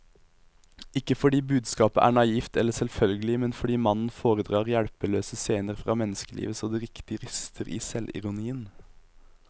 Ikke fordi budskapet er naivt eller selvfølgelig, men fordi mannen foredrar hjelpeløse scener fra menneskelivet så det riktig ryster i selvironien.